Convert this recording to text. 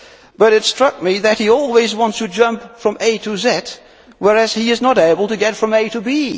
But it struck me that he always wants to jump from A to Z whereas he is not able to get from A to